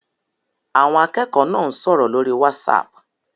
Àwọn akẹ́kọ̀ọ́ náà ń sọ̀rọ̀ lórí Whatsapp